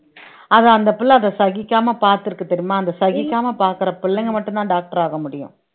அது அந்த பிள்ளை அதை சகிக்காமல் பார்த்து இருக்கு தெரியுமா அந்த சகிக்காமல் பார்க்கிற பிள்ளைங்க மட்டும் தான் doctor ஆக முடியும்